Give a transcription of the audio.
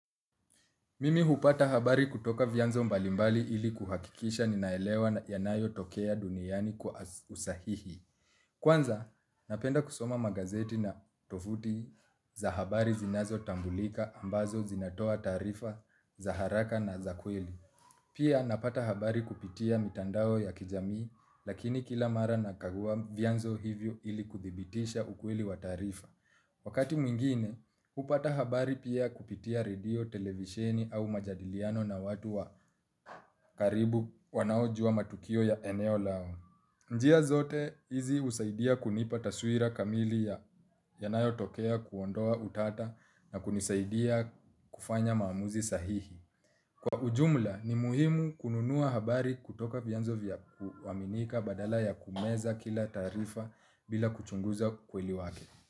Mimi hupata habari kutoka vianzo mbalimbali ili kuhakikisha ninaelewa yanayotokea duniani kwa usahihi. Kwanza, napenda kusoma magazeti na tovuti za habari zinazotambulika ambazo zinatoa taarifa za haraka na za kweli. Pia napata habari kupitia mitandao ya kijamii, lakini kila mara nakagua vyanzo hivyo ili kuthibitisha ukweli wa taarifa. Wakati mwingine, hupata habari pia kupitia redio, televisheni au majadiliano na watu wa karibu wanaojua matukio ya eneo lao. Njia zote, hizi husaidia kunipa taswira kamili yanayotokea kuondoa utata na kunisaidia kufanya maamuzi sahihi. Kwa ujumla, ni muhimu kununua habari kutoka vianzo vya kuaminika badala ya kumeza kila taarifa bila kuchunguza ukweli wake.